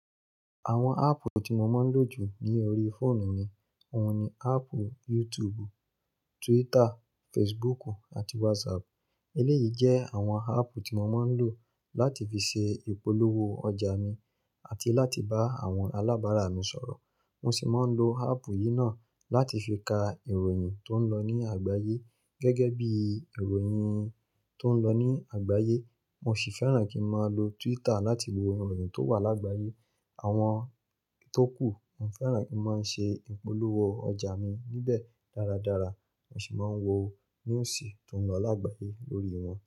Àwọn áàpù tí mo máa ń lò jù ní orí fóònù ni, òun ni áàpù YouTube, Twitter, Facebook àti WhatsApp. Eléyìí jẹ́ àwọn áàpù tí mo máa ń lò láti fi ṣe ìpolówó ọjà mi àti láti bá àwọn alábàárà mi sọ̀rọ̀. Mo sì máa ń lo áàpù yìí náà láti fi ka ìròyìn tó ń lọ ní àgbáyé gẹ́gẹ́ bí ìròyìn tó ń lọ ní àgbáyé. Mo sì fẹ́ràn kí n máa lo Twitter láti wo ìròyìn tó wà lágbáyé. Àwọn itókù, mo fẹ́ràn kí n máa ṣe ìpolówó ọjà mi níbẹ̀ dáradára, mo sì máa ń wo news tó ń lọ lágbáyé lórí wọn.